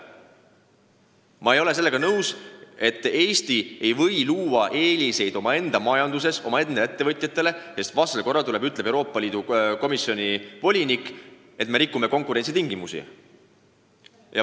Ma ei ole nõus, et Eesti ei või oma majandusruumis luua eeliseid omaenda ettevõtjatele, sest vastasel korral tuleb Euroopa Komisjoni volinik ja ütleb, et me rikume konkurentsitingimusi.